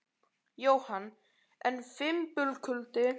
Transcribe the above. Jóhann: En fimbulkuldi?